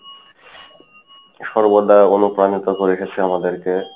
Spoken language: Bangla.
সর্বদা অনুপ্রানিত করে গেসে আমাদেরকে।